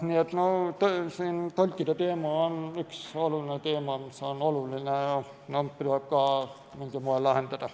Nii et tõlkide teema on üks oluline teema, mis tuleb mingil moel lahendada.